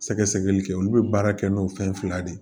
Sɛgɛsɛgɛli kɛ olu bɛ baara kɛ n'o fɛn fila de ye